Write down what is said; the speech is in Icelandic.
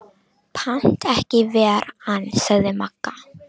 Pant ekki ver ann, sagði Magga.